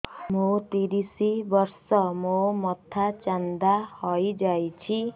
ମୋ ତିରିଶ ବର୍ଷ ମୋ ମୋଥା ଚାନ୍ଦା ହଇଯାଇଛି